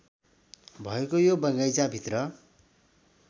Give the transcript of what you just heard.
भएको यो बगैंचाभित्र